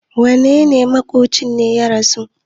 wanene maƙocin ne ya rasu?